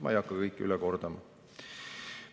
Ma ei hakka kõike üle kordama.